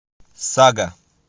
сага